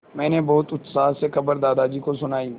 मैंने बहुत उत्साह से खबर दादाजी को सुनाई